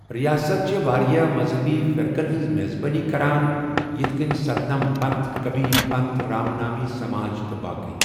رِیاسَت چھےٚ واریٛاہ مذہبی فرقَن ہٕنٛز میزبٲنی کران یِتھ کٔنۍ سَتنم پنتھ، کبیر پنتھ، رام نامی سماج، تہٕ باقٕی۔